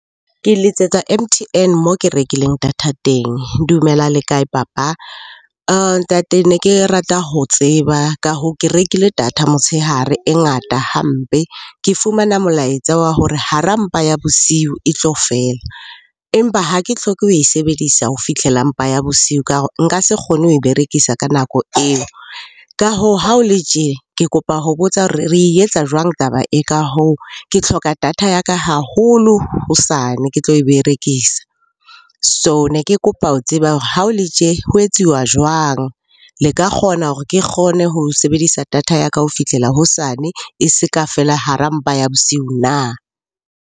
Ke letsetsa M_T_N moo ke rekileng data teng. Dumela le kae papa? Ntate ne ke rata ho tseba, ka hoo ke rekile data motshehare e ngata hampe. Ke fumana molaetsa wa hore hara mpa ya bosiu eo e tlo fela. Empa ha ke hloke ho e sebedisa ho fihlela mpa ya bosiu ka nka se kgone ho e berekisa ka nako eo. Ka hoo ha o le tje, ke kopa ho botsa hore re etsa jwang taba e ka hoo? Ke hloka data ya ka haholo hosane ke tlo e berekisa. So ne ke kopa ho tseba hore ha o le tje, ho etsuwa jwang? Le ka kgona hore ke kgone ho sebedisa data ya ka ho fihlela hosane e se ka fela hara mpa ya bosiu na?